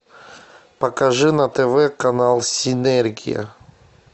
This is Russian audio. покажи на тв канал синергия